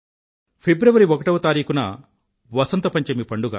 ప్రిబ్రవరి ఒకటవ తారీఖున వసంత పంచమి పండుగ